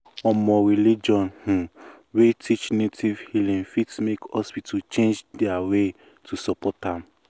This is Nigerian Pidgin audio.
um religion um wey teach native healing fit make hospital change their way to support am.